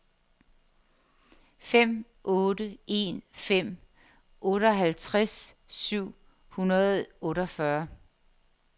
fem otte en fem otteoghalvtreds syv hundrede og otteogfyrre